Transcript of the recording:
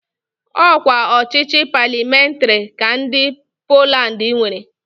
Ọ kwa ọchịchị palịamentarị ka ndị Poland nwere.